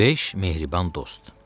Beş mehriban dost.